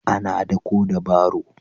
Ana daƙo da baro.